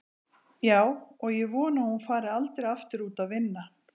Já, og ég vona að hún fari aldrei aftur út að vinna.